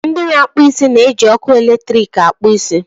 ndị na-akpụ isi na-eji ọkụ eletrik akpụ isi